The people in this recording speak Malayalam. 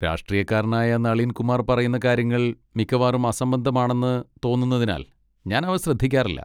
രാഷ്ട്രീയക്കാരനായ നളീൻ കുമാർ പറയുന്ന കാര്യങ്ങൾ മിക്കവാറും അസംബന്ധമാണെന്ന് തോന്നുന്നതിനാൽ ഞാൻ അവ ശ്രദ്ധിക്കാറില്ല.